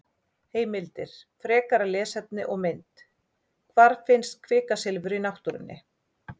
Heimildir, frekara lesefni og mynd: Hvar finnst kvikasilfur í náttúrunni?